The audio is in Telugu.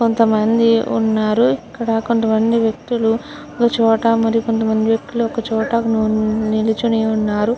కొంతమంది ఉన్నారు. ఇక్కడ కొంతమంది వ్యక్తులు ఒక చోట మరి కొంత మంది వ్యక్తులు ఒక చోట నిల్చొని ఉన్నారు.